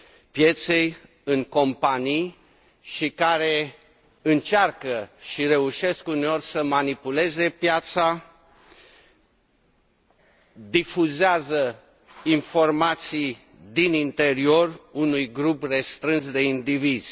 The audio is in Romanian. pieței, în companii și care încearcă și reușesc uneori să manipuleze piața, difuzând informații din interior unui grup restrâns de indivizi.